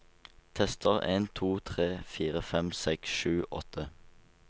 Tester en to tre fire fem seks sju åtte